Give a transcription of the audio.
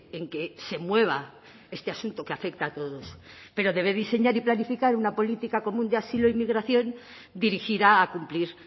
en que se mueva este asunto que afecta a todos pero debe diseñar y planificar una política común de asilo e inmigración dirigida a cumplir